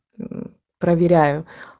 проверяю